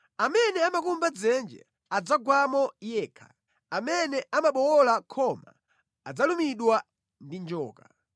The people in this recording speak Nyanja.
Amene amakumba dzenje adzagwamo yekha; amene amabowola khoma adzalumidwa ndi njoka.